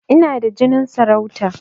Ina da jinin sarauta